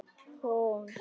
Hún trúði mér.